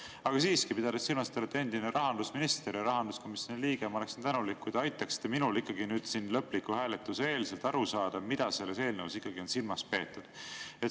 Aga siiski, pidades silmas, et te olete endine rahandusminister ja rahanduskomisjoni liige, ma oleksin tänulik, kui te aitaksite minul siin lõpliku hääletuse eel aru saada, mida selles eelnõus ikkagi on silmas peetud.